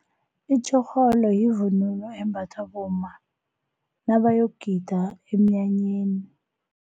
Itjhorholo yivunulo embathwa bomma nabayogida emnyanyeni.